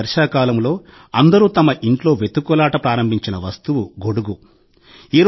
ఈ వర్షాకాలంలో అందరూ తమ ఇంట్లో వెతుకులాట ప్రారంభించిన వస్తువు 'గొడుగు'